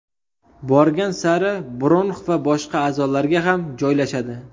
Borgan sari bronx va boshqa a’zolarga ham joylashadi.